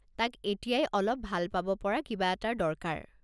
তাক এতিয়াই অলপ ভাল পাব পৰা কিবা এটাৰ দৰকাৰ।